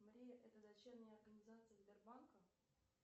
мария это дочерняя организация сбербанка